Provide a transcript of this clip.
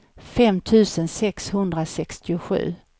fem tusen sexhundrasextiosju